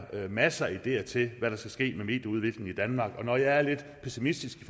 masser af ideer til hvad der skal ske med medieudviklingen i danmark når jeg er lidt pessimistisk i